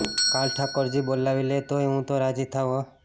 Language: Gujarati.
કાલ ઠાકોરજી બોલાવી લે તોય હું તો રાજી થાવ હોં